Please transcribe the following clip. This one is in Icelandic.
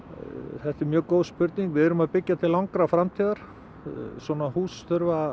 þetta er mjög góð spurning við erum að byggja til langrar framtíðar svona hús þurfa að